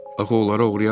Axı onları oğurlayarlar.